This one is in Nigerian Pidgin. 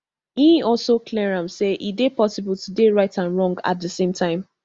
e also clear am say e dey possible to dey right and wrong at di same time